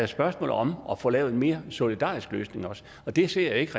spørgsmål om at få lavet en mere solidarisk løsning og det ser jeg ikke